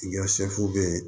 I ka sɛfu bɛ ye